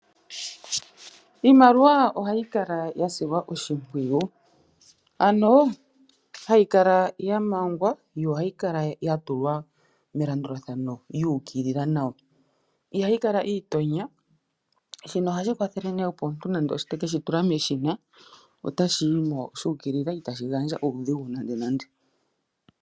Iimaliwa ohayi kala yasilwa oshimpwiyu , ano hayi kala yamangwa yo ohayi kala yatulwa melandulathano yuukilila nawa, ihayi kala yiitonya shino ohashi kwathele nee opo omuntu nande ote keshi tula meshina, otashi yimo shuukilila itashi gandja uudhigu nande nande.